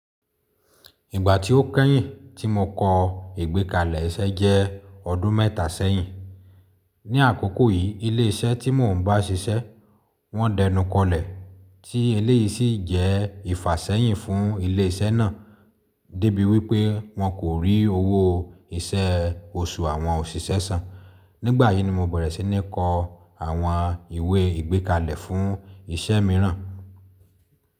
Ìgbà tí ó kẹ́yìn tí mo kọ ìgbékalẹ̀ iṣẹ́ jẹ́ ọdún mẹ́ta sẹ́yìn. Ni àkókò yìí ilé iṣẹ́ tí mò ń bá ṣiṣẹ́, wọ́n dẹnukọlẹ̀ tí eléyìí sì jẹ́ ìfàṣẹ́yìn fún ilé iṣẹ́ náà débi wípẹ́ wọn kò rí owó iṣẹ́ oṣù àwọn òṣìṣẹ́ sàn. Nígbà yìí ni mo bẹ̀rẹ̀ sí ní kọ àwọn ìwé ìgbékalẹ̀ fún iṣẹ́ mìíràn.